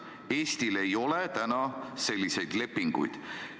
Eestil ei ole selliseid lepinguid.